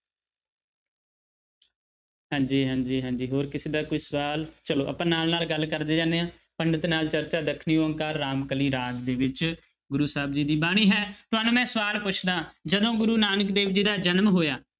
ਹਾਂਜੀ ਹਾਂਜੀ ਹਾਂਜੀ ਹੋਰ ਕਿਸੇ ਦਾ ਕੋਈ ਸਵਾਲ ਚਲੋ ਆਪਾਂ ਨਾਲ ਨਾਲ ਗੱਲ ਕਰਦੇ ਜਾਂਦੇ ਹਾਂ ਪੰਡਿਤ ਨਾਲ ਚਰਚਾ, ਦੱਖਣੀ ਓਅੰਕਾਰ, ਰਾਮਕਲੀ ਰਾਗ ਦੇ ਵਿੱਚ ਗੁਰੂ ਸਾਹਿਬ ਜੀ ਦੀ ਬਾਣੀ ਹੈ, ਤੁਹਾਨੂੰ ਮੈਂ ਸਵਾਲ ਪੁੱਛਦਾਂ ਜਦੋਂ ਗੁਰੂ ਨਾਨਕ ਦੇਵ ਜੀ ਦਾ ਜਨਮ ਹੋਇਆ